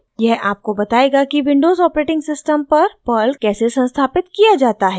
यह आपको बताएगा कि विंडोज़ os पर पर्ल कैसे संस्थापित किया जाता है